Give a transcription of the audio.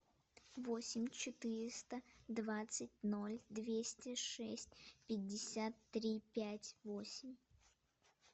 восемь четыреста двадцать ноль двести шесть пятьдесят три пять восемь